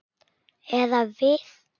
Eða við.